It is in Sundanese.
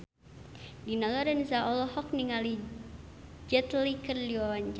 Dina Lorenza olohok ningali Jet Li keur diwawancara